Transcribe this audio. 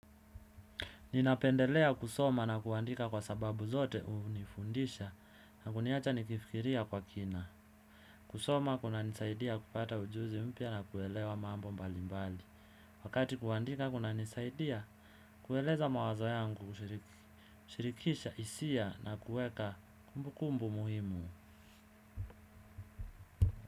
Ninapendelea kusoma na kuandika kwa sababu zote hunifundisha na kuniacha nikifikiria kwa kina. Kusoma kuna nisaidia kupata ujuzi mpya na kuelewa mambo mbali mbali. Wakati kuandika kuna nisaidia, kueleza mawazo yangu, kushirikisha hisia na kuweka kumbu kumbu muhimu.